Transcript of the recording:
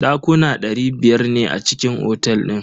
Dakuna dari biyar ne a cikin otel din.